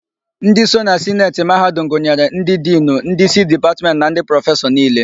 Ndị so na Sineti mahadum gụnyere: Ndị Dinu, Ndị isi Dipatmentị na ndị prọfesọ niile.